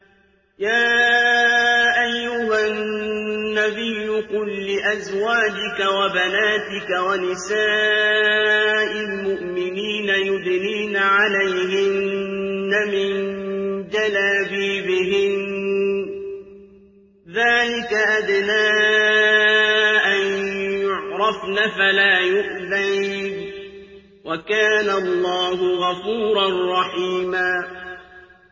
يَا أَيُّهَا النَّبِيُّ قُل لِّأَزْوَاجِكَ وَبَنَاتِكَ وَنِسَاءِ الْمُؤْمِنِينَ يُدْنِينَ عَلَيْهِنَّ مِن جَلَابِيبِهِنَّ ۚ ذَٰلِكَ أَدْنَىٰ أَن يُعْرَفْنَ فَلَا يُؤْذَيْنَ ۗ وَكَانَ اللَّهُ غَفُورًا رَّحِيمًا